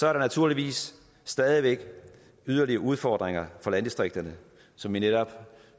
er der naturligvis stadig væk yderligere udfordringer for landdistrikterne som vi netop